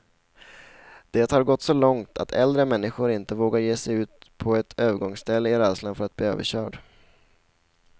Det har gått så långt att äldre människor inte vågar ge sig ut på ett övergångsställe, i rädslan för att bli överkörd.